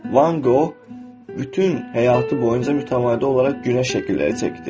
Van Qoq bütün həyatı boyunca mütəvadi olaraq günəş şəkilləri çəkdi.